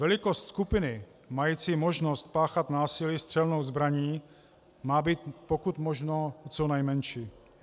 Velikost skupiny mající možnost páchat násilí střelnou zbraní má být pokud možno co nejmenší.